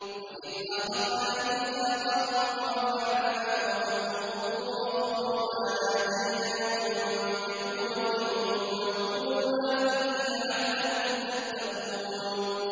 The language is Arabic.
وَإِذْ أَخَذْنَا مِيثَاقَكُمْ وَرَفَعْنَا فَوْقَكُمُ الطُّورَ خُذُوا مَا آتَيْنَاكُم بِقُوَّةٍ وَاذْكُرُوا مَا فِيهِ لَعَلَّكُمْ تَتَّقُونَ